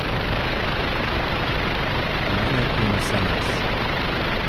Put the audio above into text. Mene in vse nas.